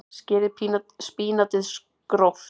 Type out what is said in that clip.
Skerið spínatið gróft.